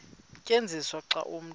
tyenziswa xa umntu